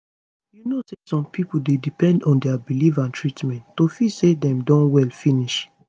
you know say some pipo dey depend on dia belief and treatment to feel say dem don well finish